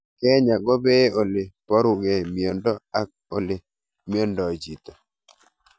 Kenyaa ko pee ole parukei miondo ak ole miondoi chito